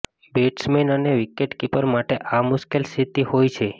batsman અને wicketkeeper માટે આ મુશ્કેલ સ્થિતિ હોય છે